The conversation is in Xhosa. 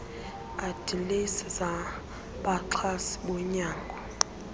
adilesi zabaxhasi bonyango